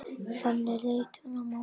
Þannig leit hún á málin.